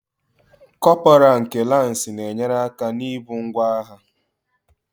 Kọpraalụ nke Lansị na-enyere aka na-ibu ngwaagha